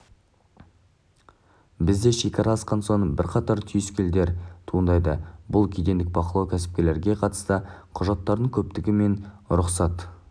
бізде шекара асқан соң бірқатар түйткілдер туындайды бұл кедендік бақылау кәсіпкерлерге қатысты құжаттардың көптігі және рұқсат